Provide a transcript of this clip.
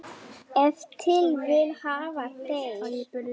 Ef til vill hafa þeir.